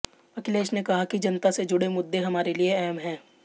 अखिलेश ने कहा कि जनता से जुड़े मुद्दे हमारे लिए अहम है